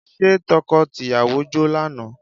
Ṣé tọkọ tìyàwó jó lánàá?